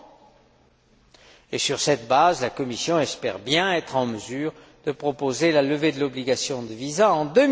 À la suite de cela, la Commission espère bien être en mesure de proposer la levée de l'obligation de visa en